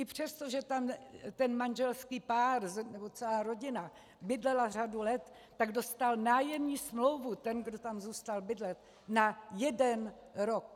I přesto, že tam ten manželský pár nebo celá rodina bydlela řadu let, tak dostal nájemní smlouvu, ten, kdo tam zůstal bydlet, na jeden rok.